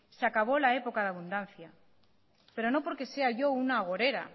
se acabó la época de abundancia pero no porque sea yo una agorera